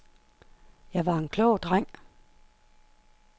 Jeg var en klog dreng.